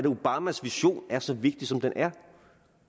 obamas vision er så vigtig som den er